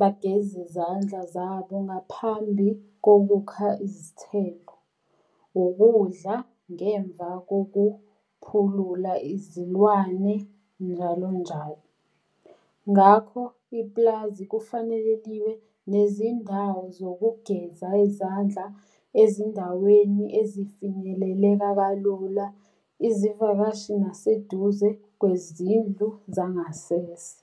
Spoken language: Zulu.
bageze izandla zabo ngaphambi kokukha izithelo, ukudla ngemva kokuphulula izilwane njalonjalo. Ngakho ipulazi kufanele liwe nezindawo zokugeza izandla ezindaweni ezifinyeleleka kalula izivakashi, nabaseduze kwezindlu zangasese.